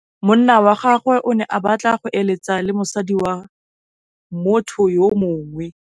Monna wa gagwe o ne a batla go êlêtsa le mosadi wa motho yo mongwe.